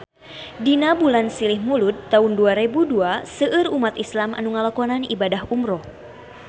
Dina bulan Silih Mulud taun dua rebu dua seueur umat islam nu ngalakonan ibadah umrah